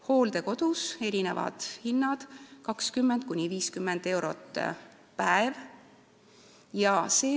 Hooldekodus on erinevad hinnad, 20–50 eurot päev.